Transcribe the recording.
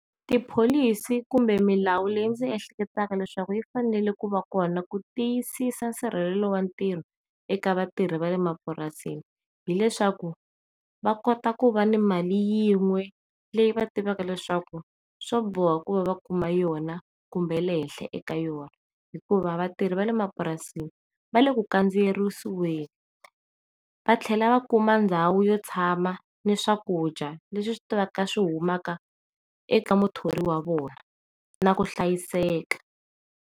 Tipholisi kumbe milawu leyi ndzi ehleketa leswaku tifanele ku va kona ku tiyisisa nsirhelelo watiko eka vatirhi vale mapurasini hileswaku va kotaku ku va ni mali yin'we leyi va tivika leswaku swo boha ku va va kuma yona kumbe le henhla eka yona hikuva vatirhi vale emapurasini va le ku kandziyerisiweni, va tlhela va kumeka ndhawu yo tshama ni swakudya leswi swi tivaka swihumaka eka muthori wa vona na ku hlayiseka.